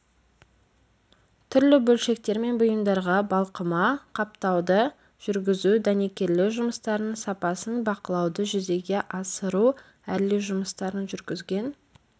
түрлі бөлшектер мен бұйымдарға балқыма қаптауды жүргізу дәнекерлеу жұмыстарының сапасын бақылауды жүзеге асыру әрлеу жұмыстарын жүргізген